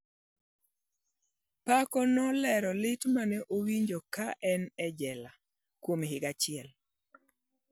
Paco nolero lit ma ne owinjo ka en e jela kuom higa achiel: